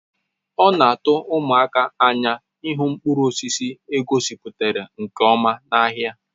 O na atu umụaka n'anya ịhụ mkpụrụ osisi egosipụtara nke ọma n'ahịa